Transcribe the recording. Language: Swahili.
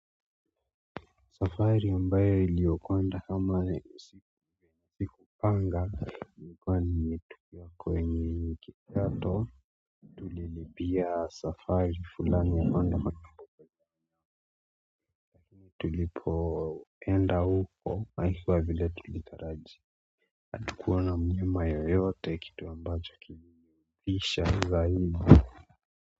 Safari ambayo iliyokonda ama nisipi kupanga ikuwa ni yetu kwenye kato lilipia safari fulani ya mando tulipoenda uko haikuwa vile tulitarajia hatukuona mlima yoyote kitu ambacho kini kisha zaidi.